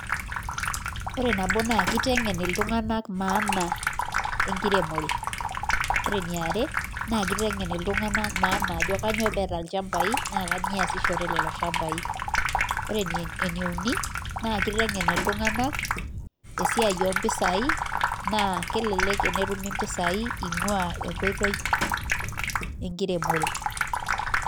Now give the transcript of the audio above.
Ore nabo naa kiteng'en iltung'anak maana enkiremore. Ore eniare, naa kiteng'en iltung'anak maana ajo kanyioo peeta ilchambai, na kanyioo easishore lelo shambai. Ore eneuni, naa kiteng'en iltung'anak, esiai ompisai, naa kelelek enetumi mpisai ing'ua enkoitoi enkiremore.